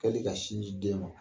Kɛli ka sin di den ma